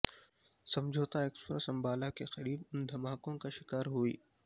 سمجھوتہ ایکسپریس انبالہ کے قریب ان دھماکوں کا شکار ہوئی